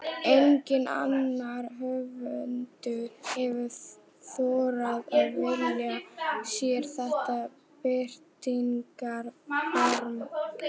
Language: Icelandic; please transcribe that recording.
Enginn annar höfundur hefur þorað að velja sér þetta birtingarform.